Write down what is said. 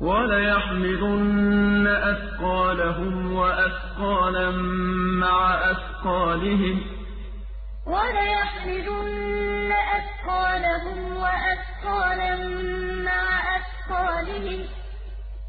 وَلَيَحْمِلُنَّ أَثْقَالَهُمْ وَأَثْقَالًا مَّعَ أَثْقَالِهِمْ ۖ